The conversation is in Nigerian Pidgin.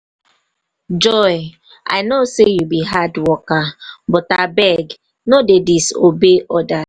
joy i no say you be hard worker but abeg no dey disobey orders.